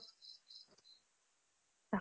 তাকেই